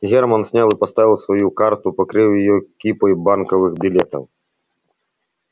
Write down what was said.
германн снял и поставил свою карту покрыв её кипой банковых билетов